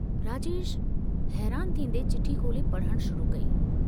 राजेश हैरान थींदे चिठी खोले पढ़ण शुरू कई।